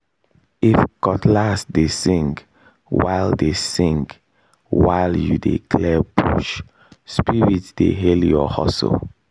if cutlass dey sing while dey sing while you dey clear bush spirits dey hail your hustle